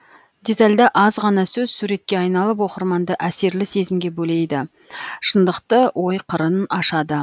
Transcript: детальда аз ғана сөз суретке айналып оқырманды әсерлі сезімге белейді шындықтықты ой қырын ашады